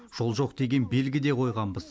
жол жоқ деген белгі де қойғанбыз